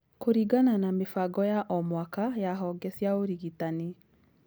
Kũringana na mĩbango ya o-mwaka ya honge cia ũrigitani